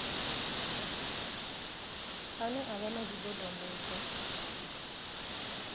ane a vha na zwidodombedzwa